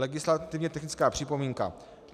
Legislativně technická připomínka.